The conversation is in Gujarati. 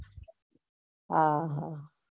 હા